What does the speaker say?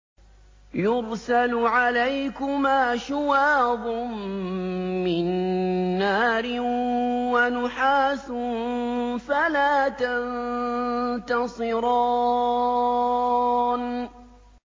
يُرْسَلُ عَلَيْكُمَا شُوَاظٌ مِّن نَّارٍ وَنُحَاسٌ فَلَا تَنتَصِرَانِ